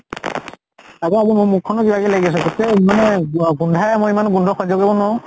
তাকে মোৰ মুখ খনো কিবা কিবি লাগি আছে। তাতে ইমানে গোন্ধায় মই ইমান গোন্ধ সহ্য় কৰিব নোৱাৰো।